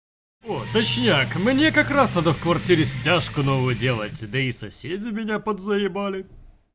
о точняк мне как раз надо в квартире стяжку новую делаете да и соседа меня подзаебали